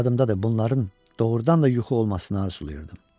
Yadımdadır, bunların doğurdan da yuxu olmasını arzulayırdım.